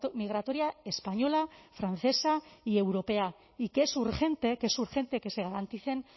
migratoria española francesa y europea y que es urgente que es urgente que se garanticen